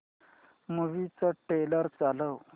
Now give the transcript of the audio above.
movie चा trailer चालव